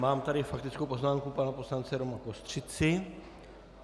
Mám tady faktickou poznámku pana poslance Roma Kostřici.